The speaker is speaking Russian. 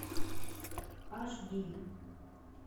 аш ди